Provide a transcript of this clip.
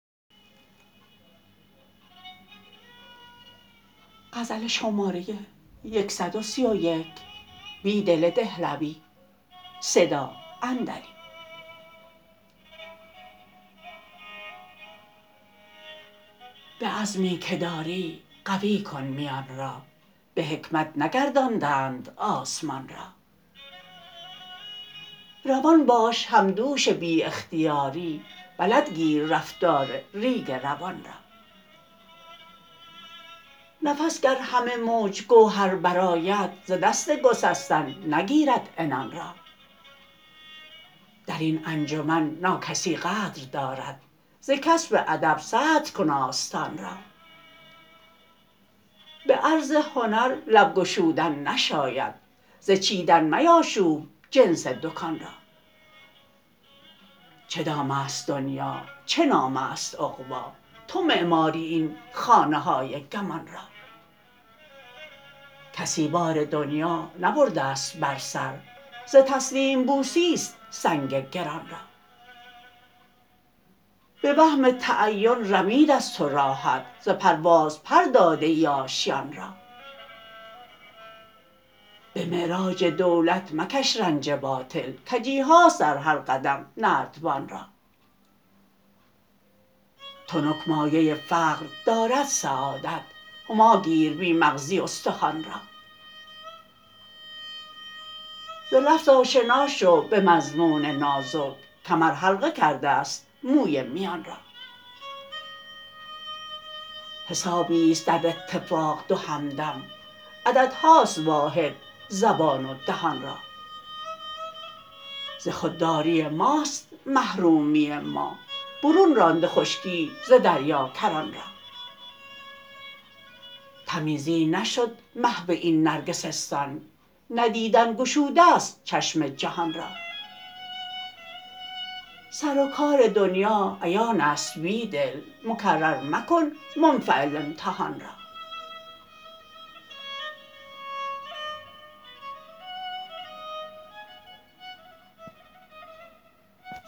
به عجزی که داری قوی کن میان را به حکمت نگردانده اند آسمان را روان باش همدوش بی اختیاری بلدگیر رفتار ریگ روان را نفس گر همه موج گوهر برآید ز دست گسستن نگیرد عنان را درین انجمن ناکسی قدر دارد زکسب ادب صدرکن آستان را به عرض هنر لب گشودن نشاید ز چیدن میاشوب جنس دکان را چه دام است دنیا چه نام است عقبا تو معماری این خانه های گمان را کسی بار دنیا نبرده ست بر سر ز تسلیم بوسی ست سنگ گران را به وهم تعین رمید ازتو راحت ز پرواز پر داده ای آشیان را به معرج دولت مکش رنج باطل کجیهاست در هر قدم نردبان را تنک مایه فقر دارد سعادت هماگیر بی مغزی استخوان را ز لفظ آشنا شو به مضمون نازک کمر حلقه کرده ست موی میان را حسابیست در اتفاق دو همدم عددهاست واحد زبان و دهان را ز خودداری ماست محرومی ما برون رانده خشکی ز دریا کران را تمیزی نشد محو این نرگسستان ندیدن گشوده ست چشم جهان را سر وکار دنیا عیان است بیدل مکرر مکن منفعل امتحان را